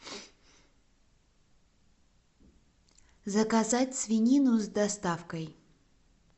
заказать свинину с доставкой